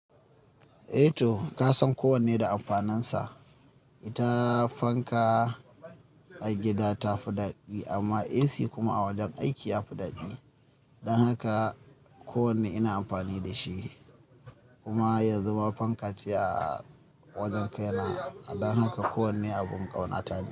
Eh to ka san kowanne da amfanansa. Ita fanka a gida ta fi daɗi amma AC kuma a wajen aiki ya fi daɗi. Don haka kowanne ina amfani da shi kuma yanzu ma fanka ce a wajen kaina. Don haka kowanne abin ƙauna ta ne.